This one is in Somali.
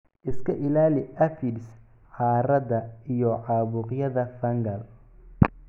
Iska ilaali aphids, caarada, iyo caabuqyada fungal